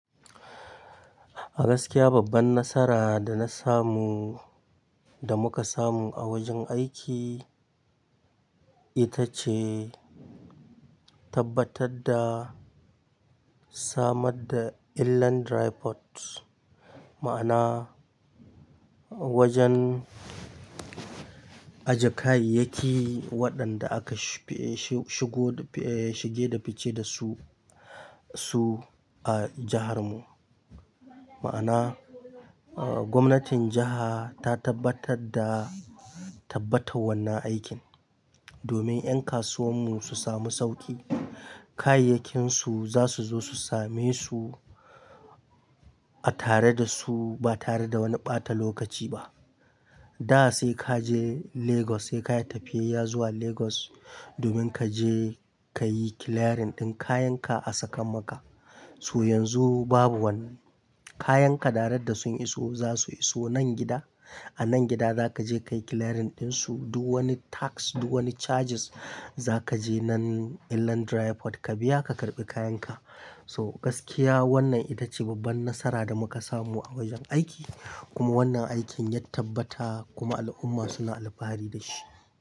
Gaskiya babban nasara da na samu, da muka samu a wajen aiki ita ce tabbatar da samar da illan dry port. Ma'ana wajen ajje kayayyaki waɗanda aka shigo shige da fice dasu, su a jihar mu. Ma'ana gwamnatin jiha ta tabbatar da tabbata wannan aikin, domin 'yan kasuwan mu su sami sauƙi. Kayayyakinsu zasu zo su same su a tare da su ba tare da wani ɓata lokaci ba. Da sai ka je Lagos, sai ka yi tafiya zuwa Lagos domin kaje kayi clearing ɗin kayan ka a Sakamaka. So yanzu babu wannan, kayan ka darect da sun iso zasu iso nan gida. A nan gida zaka je kayi clearing ɗin su, duk wani tax duk wani charges zakaje nan illan dry port ka biya ka karɓi kayan ka. So gaskiya wannan ita ce babban nasara da muka samu a wajen aiki kuma wannan aikin yat tabbata kuma al'umma suna alfahari dashi.